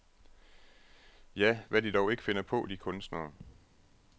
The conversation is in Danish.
Ja, hvad de dog ikke finder på, de kunstnere.